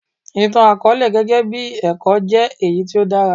Ìtàn àkọọ́lẹ̀ gẹ́gẹ́ bí ẹ̀kọ́ jẹ́ èyí tí ó dára.